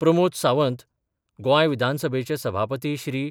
प्रमोद सावंत, गोंय विधानसभेचे सभापती श्री.